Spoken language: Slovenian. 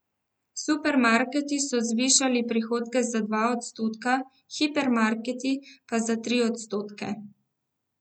Supermarketi so zvišali prihodke za dva odstotka, hipermarketi pa za tri odstotke.